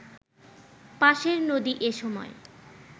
পাশের নদী এ সময়